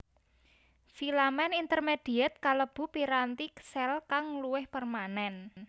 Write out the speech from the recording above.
Filamen intermediet kalebu piranti sel kang luwih permanen